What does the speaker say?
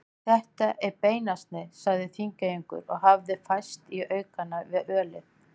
Þetta er beinasni, sagði Þingeyingur og hafði færst í aukana við ölið.